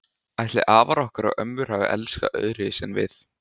Ætli afar okkar og ömmur hafi elskast öðruvísi en við?